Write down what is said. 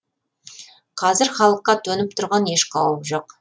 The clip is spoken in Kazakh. қазір халыққа төніп тұрған еш қауіп жоқ